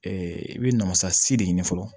i bɛ namasasi de ɲini fɔlɔ